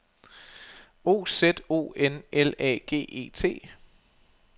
O Z O N L A G E T